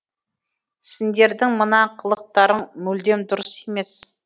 сендердің мына қылықтарың мүлдем дұрыс емес